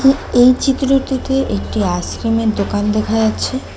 এই চিত্রটিতে একটি আইসক্রিমের দোকান দেখা যাচ্ছে।